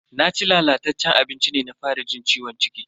Naci lalataccen abincin ne na fara jin ciwon ciki.